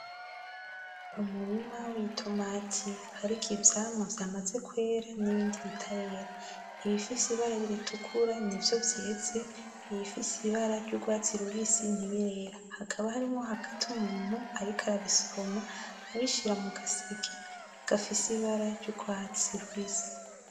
Umurima witomati hariko ivyamwa vyamaze nibindi bitarera ibifise ibara ritukura nivyo vyeze ibifise ibara ryugwatsi rubisi ntibirera hakaba hatimwo hagati umuntu ariko arabisoroma abishira mugaseke gafise ibara ryugwatsi rubisi